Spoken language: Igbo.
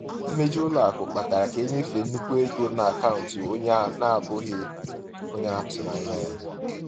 Mmejọ ụlọ akụ kpatara ka e nyefee nnukwu ego n’akaụntụ onye na-abụghị onye a tụrụ anya ya.